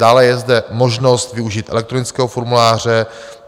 Dále je zde možnost využít elektronického formuláře.